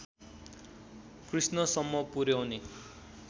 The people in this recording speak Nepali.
कृष्णसम्म पुर्‍याउने